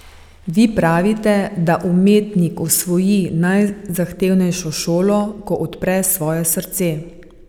Vi pravite, da umetnik osvoji najzahtevnejšo šolo, ko odpre svoje srce.